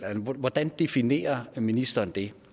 hvordan definerer ministeren det